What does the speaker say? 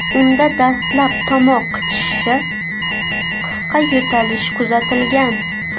Unda dastlab tomoq qichishishi, qisqa yo‘talish kuzatilgan.